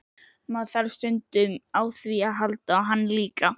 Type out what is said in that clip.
Maður þarf stundum á því að halda og hann líka.